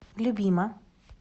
любима